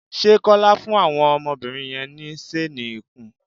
Ṣé Kọ́lá fún àwọn ọmọbìnri yẹn ní ṣéénì ikùn?